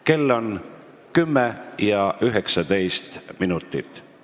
Kell on 10 ja 19 minutit.